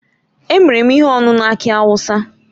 Emere m ihe ọṅụṅụ aki awụsa.